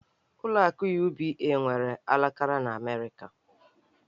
Ụlọ akụ UBA nwere alaka n'Amerịka